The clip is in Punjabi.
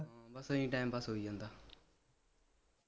ਹਮ ਬਸ ਐਵੇਂ time pass ਹੋਈ ਜਾਂਦਾ